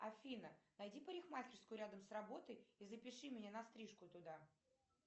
афина найди парикмахерскую рядом с работой и запиши меня на стрижку туда